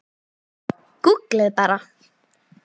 Gúgglið bara.